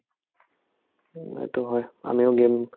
উম্, সেটো হয় আমিও game